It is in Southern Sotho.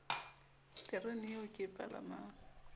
tereneng eo ke e palamang